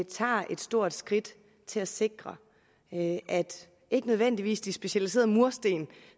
tager et stort skridt til at sikre at ikke nødvendigvis de specialiserede mursten